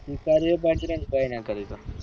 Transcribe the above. વિચારીએ બાકી એમ કાઈ ના કરી સકાય